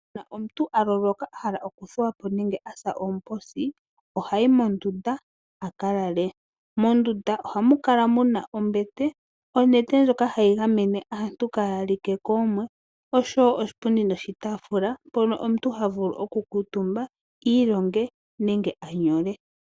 Uuna omuntu a loloka a hala okuthuwa po nenge asa oomposi ohayi mondunda a kalale. Mondunda ohamu kala muna ombete, onete ndjoka hayi gamene aantu kaaya like koomwe oshowo oshipundi noshitaafula mpono omuntu havulu okukuutumba iilonge nenge anyole.